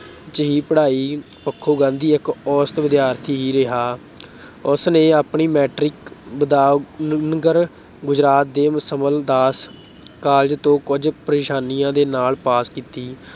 ਹੀ ਪੜ੍ਹਾਈ ਪੱਖੋਂ ਗਾਂਧੀ ਇੱਕ ਔਸਤ ਵਿਦਿਆਰਥੀ ਰਿਹਾ। ਉਸਨੇ ਆਪਣੀ Matric ਭਾਵਨਗਰ ਗੁਜਰਾਤ ਦੇ ਸ਼ਮਲਦਾਸ college ਤੋਂ ਕੁੱਝ ਪਰੇਸ਼ਾਨੀਆਂ ਦੇ ਨਾਲ pass ਕੀਤੀ